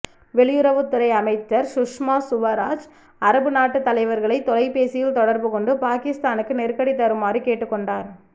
வெளியுறவுத் துறை அமைச்சர் சுஷ்மா சுவராஜ் அரபு நாட்டு தலைவர்களை தொலைபேசியில் தொடர்புகொண்டு பாகிஸ்தானுக்கு நெருக்கடி தருமாறு கேட்டுக்கொண்டார்